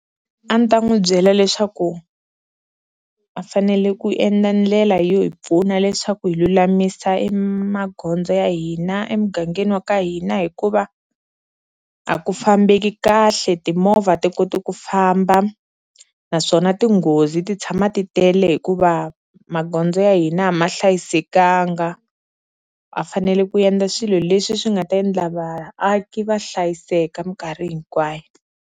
A ni ta n'wi byela leswaku a fanele ku endla ndlela yo hi pfuna leswaku hi lulamisa e magondzo ya hina emugangeni wa ka hina hikuva a ku fambeki kahle, timovha a ti koti ku famba naswona tinghozi ti tshama ti tele hikuva magondzo ya hina a ma hlayisekanga, va fanele ku endla swilo leswi swi nga ta endla vaaki va hlayiseka minkarhi hinkwayo.